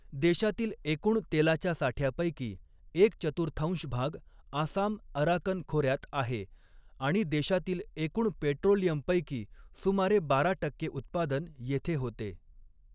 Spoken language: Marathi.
देशातील एकूण तेलाच्या साठ्यापैकी एक चतुर्थांश भाग आसाम अराकन खोऱ्यात आहे आणि देशातील एकूण पेट्रोलियमपैकी सुमारे बारा टक्के उत्पादन येथे होते.